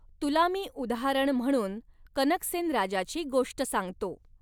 तुला मी उदाहरण म्हणून कनकसेन राजाची गोष्ट सांगतो.